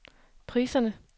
priserne